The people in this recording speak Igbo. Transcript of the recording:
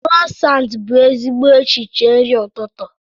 Krosant bụ ezigbo echiche nri ụtụtụ.